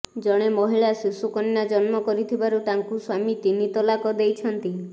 ଜଣେ ମହିଳା ଶିଶୁକନ୍ୟା ଜନ୍ମ କରିଥିବାରୁ ତାଙ୍କୁ ସ୍ୱାମୀ ତିନି ତଲାକ ଦେଇଛନ୍ତି